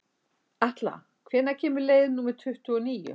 Atla, hvenær kemur leið númer tuttugu og níu?